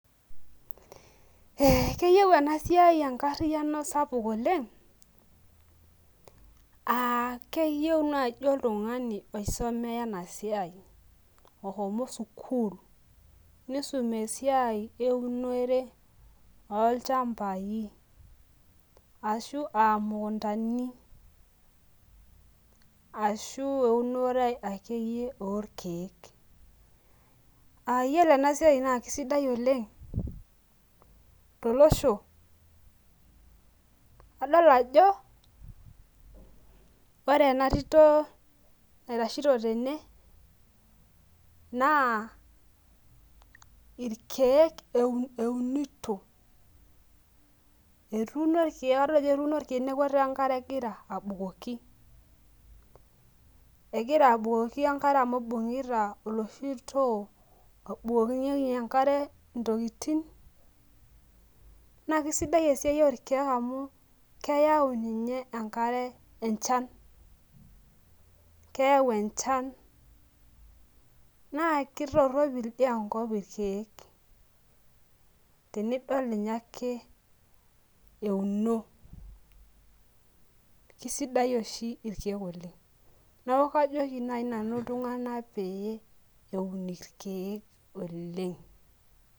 Keyieu enasiai enkariano sapuk oleng keyieu nai oltungani osumea enasiai oshomo sukul nisum esiai eunore olchambai ashu imukundani ashu eunotr akeyie orkiek a ore enasia na kisidai oleng tolosho adol ajo ore enatiti naitashito tene na irkiek eunito etuuno irkek ataa enkare egira abukoki egira abukoki enkare amu ibungita olosho otii obukokinyeki ntokitin na kesidai esiai orkiek amu keyau ninye enkare enchan keyau enchan na kitoropil enchan irkiek tenidol euno Kesidai irkiek oleng neaku kajoki ltunganak peun irkiek oleng.